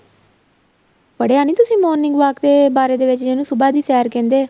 ਪੜਿਆ ਨਹੀਂ ਤੁਸੀਂ morning walk ਤੇ ਬਾਰੇ ਵਿੱਚ ਜਿਹਨੂੰ ਸੁਭਾਹ ਦੀ ਸੈਰ ਕਹਿੰਦੇ ਏ